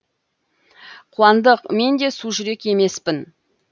қуандық мен де су жүрек емеспін